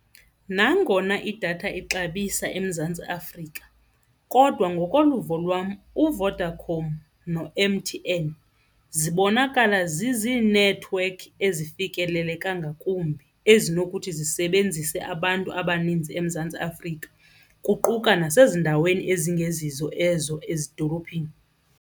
Nangona idatha ixabisa eMzantsi Afrika kodwa ngokoluvo lwam uVodacom no-M_T_N zibonakala zizinethiwekhi ezifikeleleka ngakumbi ezinokuthi zisebenzise abantu abaninzi eMzantsi Afrika kuquka nasezindaweni ezingezizo ezo ezidolophini.